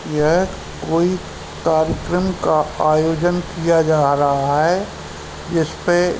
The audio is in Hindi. यह कोई कार्यक्रम का आयोजन किया जा रहा है। जिसपे --